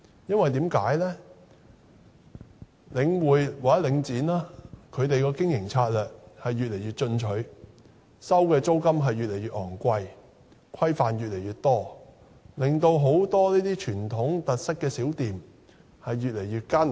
因為領展的經營策略越來越進取，收取的租金越來越昂貴，規範越來越多，令很多具傳統特色小店的經營越來越艱難。